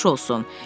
Nuş olsun!